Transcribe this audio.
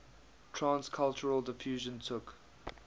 trans cultural diffusion took